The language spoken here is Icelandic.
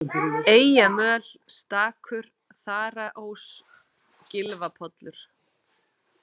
Eyjamöl, Stakur, Þaraós, Gylfapollur